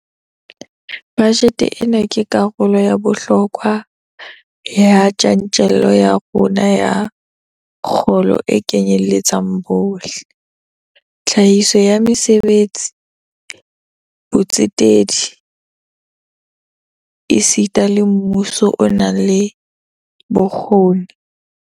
Bajete ena ke karolo ya bohlokwa ya tjantjello ya rona ya kgolo e kenyeletsang bohle, tlhahiso ya mesebetsi, botsetedi esita le mmuso o nang le bokgoni.